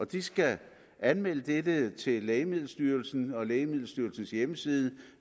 de skal anmelde dette til lægemiddelstyrelsen og lægemiddelstyrelsens hjemmeside og